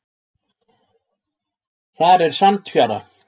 Þar er sandfjara.